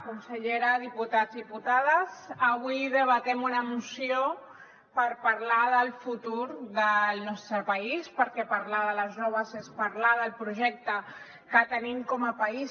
consellera diputats diputades avui debatem una moció per parlar del futur del nostre país perquè parlar de les joves és parlar del projecte que tenim com a país